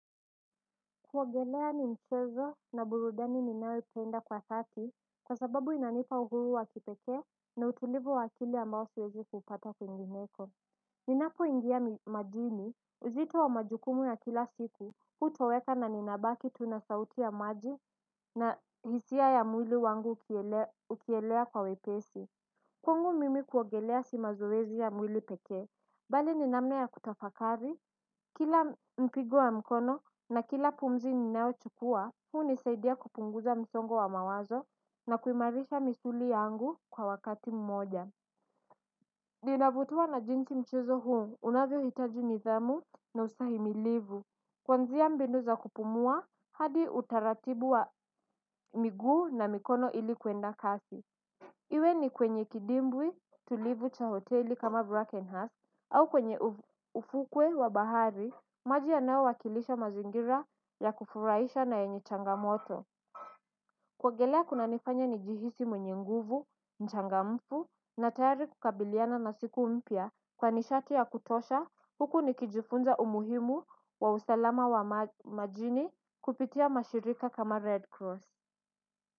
Kuogelea ni mchezo na burudani ninayopenda kwa dhati kwa sababu inanipa uhuru wa kipeke na utulivu wa akili ambao siwezi kupata kwingineko. Ninapoingia majini uzito wa majukumu ya kila siku hutoweka na ninabaki tu na sauti ya maji na hisia ya mwili wangu ukielea kwa wepesi. Kwangu mimi kuogelea si mazoezi ya mwili pekee, bali ni namna kutafakari, kila mpigo wa mkono na kila pumzi ninayochukua, hunisaidia kupunguza msongo wa mawazo na kuimarisha misuli yangu kwa wakati mmoja. Ninavutiwa na jinsi mchezo huo, unavyohitaji nidhamu na ustahimilivu, kwanzia mbinu za kupumua, hadi utaratibu wa miguu na mikono ili kuenda kasi. Iwe ni kwenye kidimbwi tulivu cha hoteli kama Brackenhurst au kwenye ufukwe wa bahari maji yanayowakilisha mazingira ya kufurahisha na yenye changamoto. Kuogelea kunanifanya nijihisi mwenye nguvu, mchangamfu na tayari kukabiliana na siku mpya kwa nishati ya kutosha huku nikijifunza umuhimu wa usalama wa majini kupitia mashirika kama Red Cross.